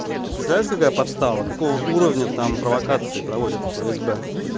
ты представляешь какая подстава какого уровня там провокации проводят в фсб